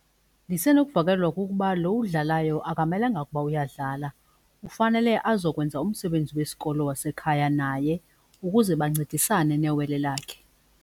Ndisenokuvakalelwa kukuba lo udlalayo akamelanga ukuba uyadlala ufanele azokwenza umsebenzi wesikolo wasekhaya naye ukuze bancedisane newele lakhe.